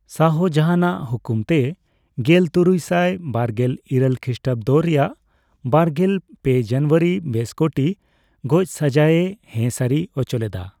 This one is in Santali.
ᱥᱟᱦᱚᱡᱟᱱᱟᱜ ᱦᱩᱠᱩᱢ ᱛᱮ ᱜᱮᱞᱛᱩᱨᱩᱭᱥᱟᱭ ᱵᱟᱨᱜᱮᱞ ᱤᱨᱟᱹᱞ ᱠᱷᱤᱥᱴᱟᱵᱫᱚ ᱨᱮᱭᱟᱜ ᱵᱟᱨᱜᱮᱞ ᱯᱮ ᱡᱟᱱᱣᱟᱨᱤ ᱵᱮᱥ ᱠᱚᱴᱤ ᱜᱚᱪᱥᱟᱹᱡᱟᱹᱭᱮ ᱦᱮ ᱥᱟᱨᱤ ᱚᱪᱚᱞᱮᱫᱟ ᱾